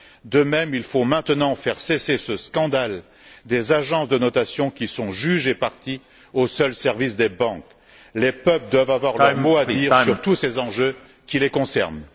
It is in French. De même, il faut maintenant faire cesser ce scandale des agences de notation qui sont juges et parties au seul service des banques. Les peuples doivent avoir leur mot à dire sur tous ces enjeux qui les concernent.